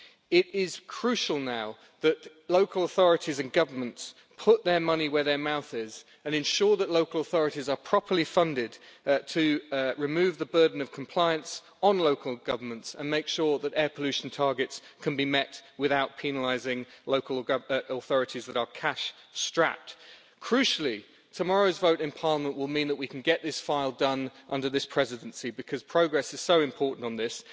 It is crucial now that local authorities and governments put their money where their mouth is and ensure that local authorities are properly funded to remove the burden of compliance on local governments and make sure that air pollution targets can be met without penalising local authorities that are cash strapped. Crucially, tomorrow's vote in Parliament will mean that we can get this file done under this Presidency, because progress is so important on this.